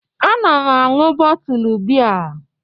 Ana m aṅụ bootle biya m